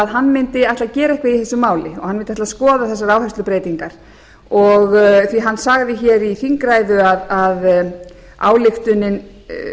hann mundi ætla að gera eitthvað í þessu máli og hann ætla að skoða þessar áherslubreytingar því að hann sagði hér í þingræðu að ályktunin